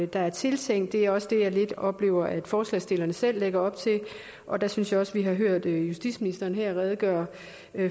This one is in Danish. der er tiltænkt det er også det jeg lidt oplever forslagsstillerne selv lægger op til og der synes jeg også at vi har hørt justitsministeren her redegøre